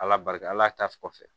Ala barika la tasuma kɔfɛ